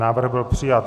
Návrh byl přijat.